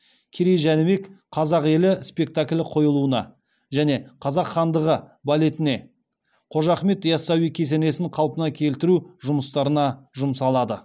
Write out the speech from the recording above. керей жәнібек қазақ елі спекталі қойылуына және қазақ хандығы балетіне қожа ахмет ясауи кесенесін қалпына келтіру жұмыстарына жұмсалады